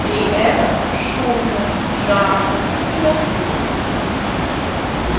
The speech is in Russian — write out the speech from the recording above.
при этом шумно жарко и накурено